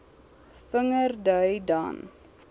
vinger dui dan